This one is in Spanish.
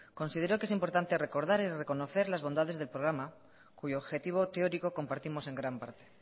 considero que es importante recordar y reconocer las bondades del programa cuyo objetivo teórico compartimos en gran parte